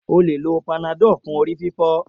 O le lo Panadol fún orí fífọ́.